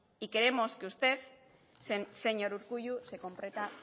y queremos que usted señor urkullu